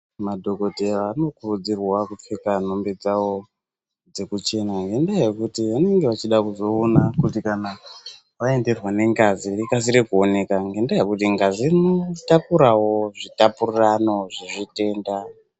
Madhokodheya anokurudzirwa kupfeka nhumbi dzawo dzekuchena ngendaa yekuti vanenge vachida kuzoona kana vaenderwa nengazi rikasire kuonekwa nendaa yekuti ngazi rinotakurawo zvitapurirano zvechitenda.